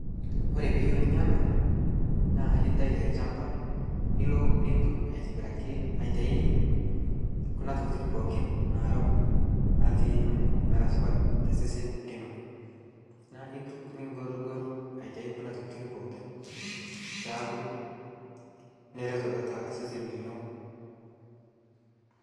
kore piiyeu ninya anaa na intai te lshampaa nilo nintuk aitibiraki aitai kuna tokitin pooki n naarok natii amu mara supat te sesen linoo naa intuk ningorgor aitai kuna tokitin pookin peaku nereto tatua sesen linoo